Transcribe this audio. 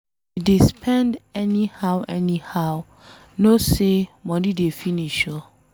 If you dey spend anyhow anyhow, know say money dey finish oo